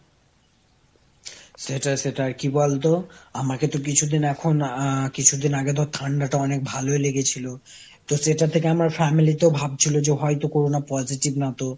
সেটাই সেটাই, আর কি বলতো আমাকে তো কিছুদিন এখন আহ কিছুদিন আগে ধর ঠান্ডা টা অনেক ভালই লেগেছিল। তো সেটা থেকে আমার family তো ভাবছিল যে হয়তো corona positive না তো,